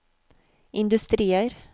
industrier